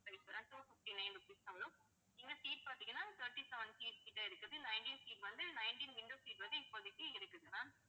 two fifty-nine rupees தான் வரும் இந்த seat பாத்தீங்கன்னா, twenty-seven seat கிட்ட இருக்குது. இந்த nineteen seat வந்து nineteen window seat வந்து இப்போதைக்கு இருக்குது ma'am